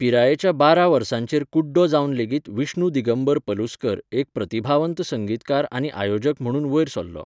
पिरायेच्या बारां वर्सांचेर कुड्डो जावन लेगीत विष्णु दिगंबर पलुस्कर एक प्रतिभावंत संगीतकार आनी आयोजक म्हणून वयर सरलो.